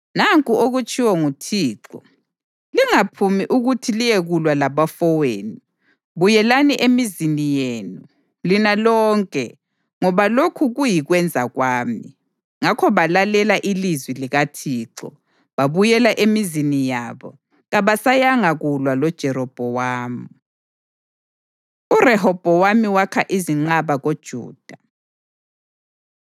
‘Nanku okutshiwo nguThixo: Lingaphumi ukuthi liyekulwa labafowenu. Buyelani emizini yenu, lina lonke, ngoba lokhu kuyikwenza kwami.’ ” Ngakho balalela ilizwi likaThixo, babuyela emizini yabo, kabasayanga kulwa loJerobhowamu. URehobhowami Wakha Izinqaba KoJuda